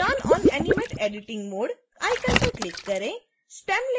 turn on animate editing mode icon पर click करें